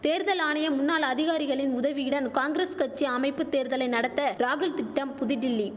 தேர்தல் ஆணைய முன்னாள் அதிகாரிகளின் உதவியுடன் காங்கிரஸ் கட்சி அமைப்பு தேர்தலை நடத்த ராகுல் திட்டம் புதுடில்லி